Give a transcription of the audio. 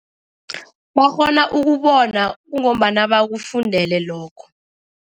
Bakghona ukubona kungombana bakufundele lokho.